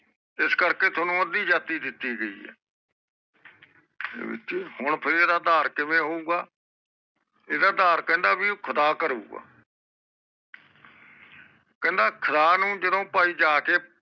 ਇਸ ਕਰਕੇ ਠਉਣੁ ਅਦਿ ਜਾਤੀ ਦਿਤੀ ਗਈ ਆ ਵਿੱਚੇ ਹੁਣਫੇਰ ਆਧਾਰ ਕਿਵੇਂ ਹੋਉਗਾ ਇਹਦਾ ਆਧਾਰ ਕਹਿੰਦਾ ਭਾਈ ਖੁਦਾ ਕਰੂਗਾ ਕਹਿੰਦਾ ਖੁਦਾ ਨੂੰ ਜਦੋ ਭਾਈ ਜਾਕੇ